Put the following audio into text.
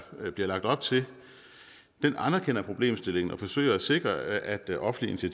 bliver lagt op til anerkender problemstillingen og forsøger at sikre at offentlige